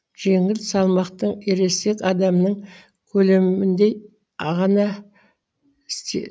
жеңіл салмақтың ересек адамның көлеміндей ғана